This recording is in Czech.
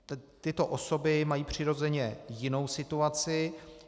Tyto osoby mají přirozeně jinou situaci.